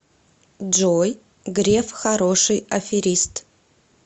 джой греф хороший аферист